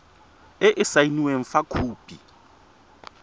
e e saenweng fa khopi